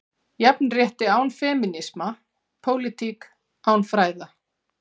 Jafnrétti án femínisma, pólitík án fræða?